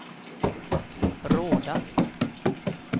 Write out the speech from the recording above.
Råda